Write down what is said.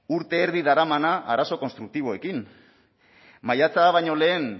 urte erdi daramana arazo konstruktiboekin maiatza baino lehen